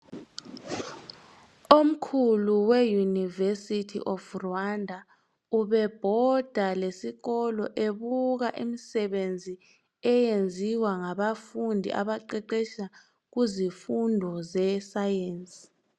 Omkhulu we university of Rwanda, ubebhoda lesikolo ebuka imisebenzi, eyenziwa ngabafundi abaqeqetsha kuzifundo ze science.